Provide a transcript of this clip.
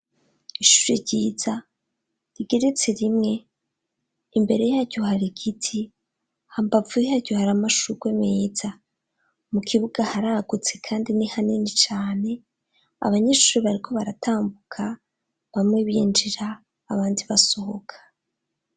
Ishuri ryiza rigiretse rimwe. Imbere yaryo hari igiti. Hambavu yaryo hari amashurwe meza. Mu kibuga haragutse kandi ni hanini cane. Abanyeshuri bariko baratambuka, bamwe binjira abandi basohoka.